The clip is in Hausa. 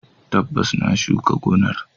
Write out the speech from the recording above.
Tabbas, na shuka gonar.